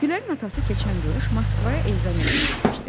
Güllərin atası keçən qış Moskvaya ezamiyyətə getmişdi.